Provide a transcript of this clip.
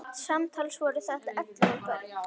Samtals voru þetta ellefu börn.